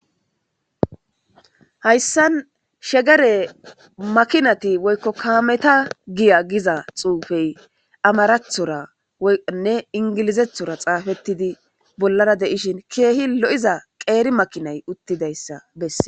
Hayssan shegere makinati woykko kaameta giya giza xuufey amarathora nne ingilizethora xaafettidi bollara deishin keehi lo7iza qeeri makinay uttidayssa besse.